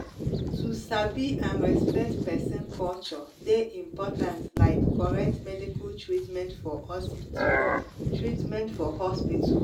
to sabi and respect person culture dey important like correct medical treatment for hospital. treatment for hospital.